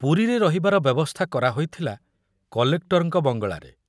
ପୁରୀରେ ରହିବାର ବ୍ୟବସ୍ଥା କରାହୋଇଥିଲା କଲେକ୍ଟରଙ୍କ ବଙ୍ଗଳାରେ।